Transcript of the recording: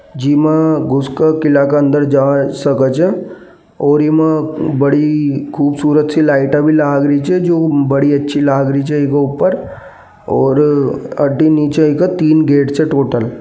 जिमा घुस के किला के अंदर जाय सकत छे और इमा बड़ी खूबसूरत सी लाइट भी लग रही छे जो बड़ी अच्छी लग रही छे इ के ऊपर और अठीने नीचे की तीन गेट छे टोटल --